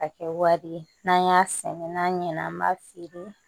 Ka kɛ wari ye n'an y'a sɛnɛ n'an ɲɛna an b'a feere